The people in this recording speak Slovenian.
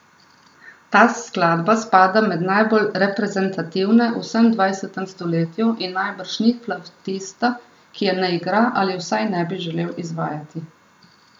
Ta skladba spada med najbolj reprezentativne v vsem dvajsetem stoletju in najbrž ni flavtista, ki je ne igra ali vsaj ne bi želel izvajati.